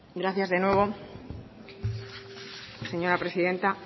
gracias de nuevo señora presidenta